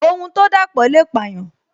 Ohun to dapo le payan